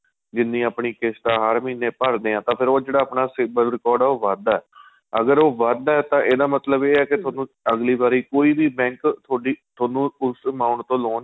ਜਿੰਨੀ ਆਪਣੀ ਕਿਸ਼ਤ ਆਂ ਹਰ ਮਹੀਨੇ ਭਰਦੇ ਹਾਂ ਤਾਂ ਉਹ ਜਿਹੜਾ ਆਪਣਾ civil record ਆਂ ਉਹ ਆਪਣਾ ਵੱਧਦਾ ਅਗਰ ਉਹ ਵੱਧਦਾ ਏ ਇਹਦਾ ਮਤਲਬ ਏਹ ਕੇ ਤੁਹਾਨੂੰ ਅਗਲੀ ਵਾਰੀ ਕੋਈ ਵੀ bank ਤੁਹਾਡੀ ਤੁਹਾਨੂੰ ਉਸ amount ਤੋ loan